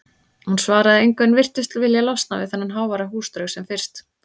Húsið svaraði engu en virtist vilja losna við þennan háværa húsdraug sem fyrst.